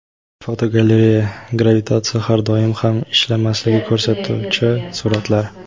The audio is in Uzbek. Fotogalereya: Gravitatsiya har doim ham "ishlamasligini" ko‘rsatuvchi suratlar.